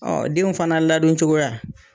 Ɔ den fana ladon cogoya.